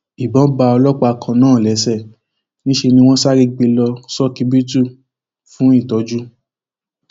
ìbọn bá ọlọpàá kan náà lẹsẹ níṣẹ ni wọn sáré gbé e lọ ṣókíbítù fún ìtọjú